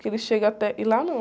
Que ele chega até... E lá não.